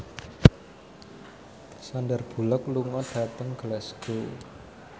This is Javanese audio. Sandar Bullock lunga dhateng Glasgow